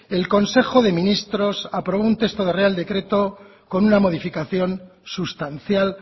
el consejo de ministros aprobó un texto de real decreto con una modificación sustancial